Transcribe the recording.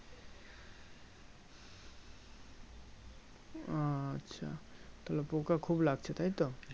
আচ্ছা তাহলে পোকা খুব লাগছে তাই তো